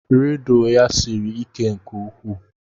Rịdụ ya siri ike nke ukwuu.